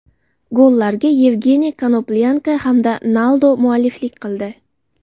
Gollarga Yevgeniy Konoplyanka hamda Naldo mualliflik qildi.